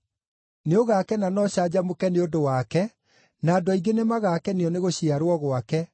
Nĩũgakena na ũcanjamũke, nĩ ũndũ wake na andũ aingĩ nĩmagakenio nĩgũciarwo gwake,